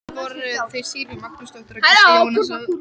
Það voru þau Sigríður Magnúsdóttir og Gísli Jónasson.